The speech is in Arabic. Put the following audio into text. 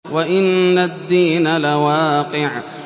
وَإِنَّ الدِّينَ لَوَاقِعٌ